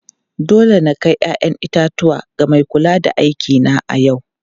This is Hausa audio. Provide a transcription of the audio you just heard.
Dole na kai 'ya'yan itatuwa ga mai kula da aikina a yau.